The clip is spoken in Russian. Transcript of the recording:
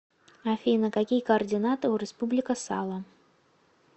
афина какие координаты у республика сало